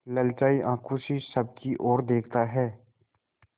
ललचाई आँखों से सबकी और देखता है